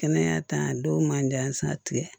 Kɛnɛya ta dɔw man jansa